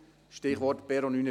Stichwort Perron 49/50.